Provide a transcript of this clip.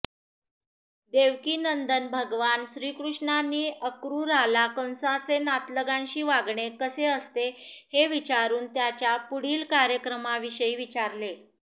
देवकीनंदन भगवान श्रीकृष्णांनी अक्रूराला कंसाचे नातलगांशी वागणे कसे असते हे विचारून त्याच्या पुढील कार्यक्रमाविषयी विचारले